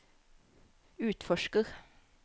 utforsker